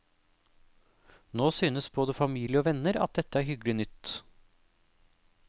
Nå synes både familie og venner at dette er hyggelig nytt.